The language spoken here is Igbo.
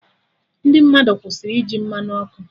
Ndị mmadụ kwụsịrị iji Mmanụ ọkụ